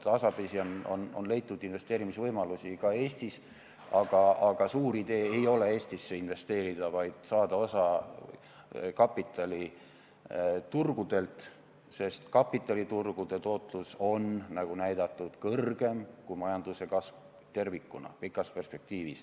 Tasapisi on leitud investeerimisvõimalusi ka Eestis, aga suur idee ei ole Eestisse investeerida, vaid saada osa kapitaliturgudelt, sest kapitaliturgude tootlus on pikas perspektiivis, nagu näidatud, suurem kui majanduse kasv tervikuna.